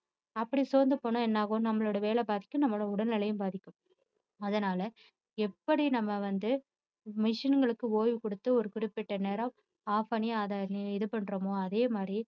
அப்படி சோர்ந்து போனா என்ன ஆகும் நம்மளோட வேலை பாதிக்கும் நம்மளோட உடல்நிலையும் பாதிக்கும் அதனால எப்படி நம்ம வந்து machine களுக்கு ஓய்வு கொடுத்து ஒரு குறிப்பிட்ட நேரம் off பண்ணி அதை இது பண்றோமோ அதேமாதிரி